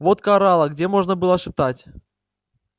водка орала где можно было шептать